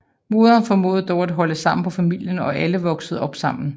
Moderen formåede dog at holde sammen på familien og alle voksede op sammen